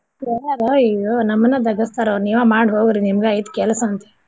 ಕೇಳ್ಯಾರ್ ಅಯ್ಯೋ ನಮ್ಮನ್ನ ಬಗ್ಗಸ್ತಾರ್ ಅವ್ರು ನೀವ ಮಾಡ್ ಹೋಗ್ರಿ ನಿಮ್ದ್ ಐತ್ ಕೆಲ್ಸ ಅಂತೇಳಿ.